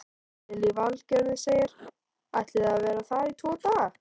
Lillý Valgerður: Ætlið þið að vera þar í tvo daga?